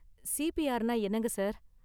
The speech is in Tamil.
சிபிஆர்னா என்னங்க சார்?